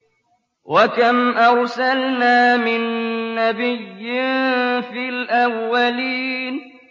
وَكَمْ أَرْسَلْنَا مِن نَّبِيٍّ فِي الْأَوَّلِينَ